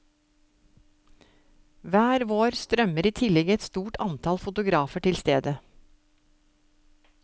Hver vår strømmer i tillegg et stort antall fotografer til stedet.